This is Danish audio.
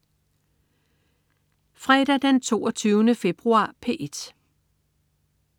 Fredag den 22. februar - P1: